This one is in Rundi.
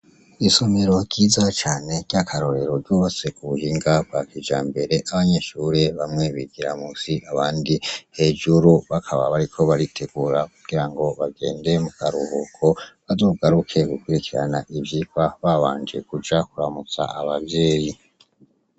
Isomero ryiza cane ry'akarorero ryubatswe k'ubuhinga bwakijambere, abanyeshure bamwe bigira munsi, abandi hejuru, bakaba bariko baritegura kugirango bagende mukaruhuko ,bazogaruke gukurikirana ivyirwa babanje kuja kuramutsa Abavyeyi.